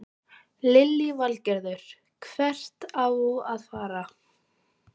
Lillý Valgerður: Hvert á að fara?